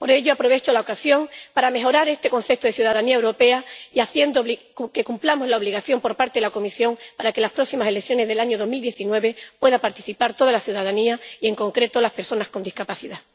Por ello, aprovecho la ocasión para mejorar este concepto de ciudadanía europea y hacer que cumplamos la obligación establecida por la Comisión de que en las próximas elecciones del año 2019 participen toda la ciudadanía y, en concreto, las personas con discapacidad.